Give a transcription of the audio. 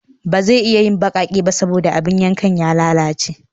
Ba zai iya yin baƙaƙe ba saboda abin yankan ya lalace